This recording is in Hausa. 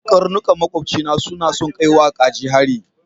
Karnukan maƙobcina suna son kai wa kaji hari.